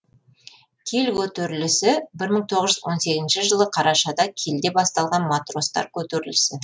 киль көтерілісі бір мың тоғыз жүз он сегізінші жылы қарашада кильде басталған матростар көтерілісі